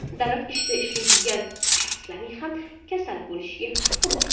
Davlat ishida ishlaydigan shaxslarning ham kasal bo‘lishiga haqi bor.